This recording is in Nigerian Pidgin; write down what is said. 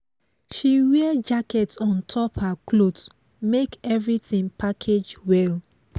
she wear jacket on top her cloth make everything package well